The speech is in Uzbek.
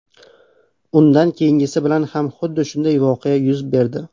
Undan keyingisi bilan ham xuddi shunday voqea yuz berdi.